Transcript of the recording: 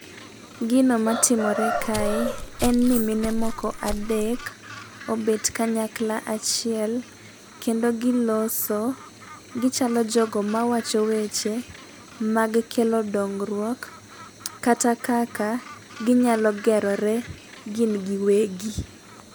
Gino matimore kae en ni mine moko adek obet kanyakla achiel kendo giloso , gichalo joma wacho weche mag kelo dongruok kata kaka ginyalo gerore gin giwegi.